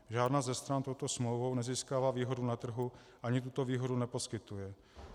Žádná ze stran touto smlouvou nezískává výhodu na trhu ani tuto výhodu neposkytuje.